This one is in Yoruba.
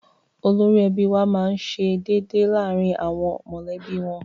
Olórí ẹbí wa máá ń ṣe déédéé láàrin àwọn mọ̀lẹ́bí wọn